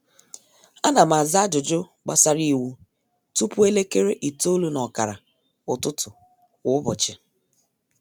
ánà m àzá ájụjụ gbàsárá iwu tụpụ elekere itoolu nà ọkàrà ụtụtụ kwa ụbọchị